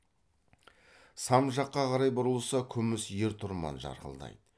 сам жаққа қарай бұрылса күміс ер тұрман жарқылдайды